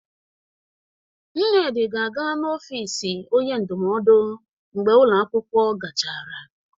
Nnedi ga-aga n'ofisi onye ndụmọdụ mgbe ụlọ akwụkwọ gachara.